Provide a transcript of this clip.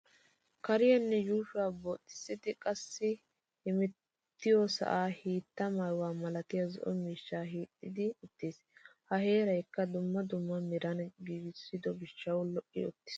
Kaaraynne yuushuwan booxissidi qassi hemettiyo sa'aa hiitta maayuwa malatiya zo'o miishshay hiixetti uttis. Ha heerayikka dumma dumma meran giigissido gishshawu lo'i uttis.